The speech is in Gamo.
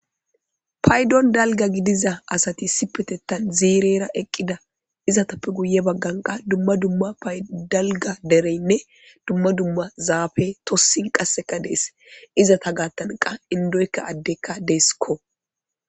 Paydon dalga gidiza asati sipetettan ziirera eqqida izatappe guye bagganqa dumma dumma paydalga dereynne dumma dumma zaafe tossin qasseka dees izata gaattanqa indoykka addekka deeskko.